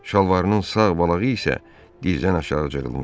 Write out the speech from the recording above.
Şalvarının sağ balağı isə dizdən aşağı cırılmışdı.